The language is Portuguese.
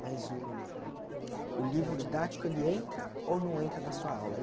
Mas o o livro didático, ele entra ou não entra na sua aula?